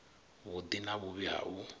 vhuḓi na vhuvhi ha u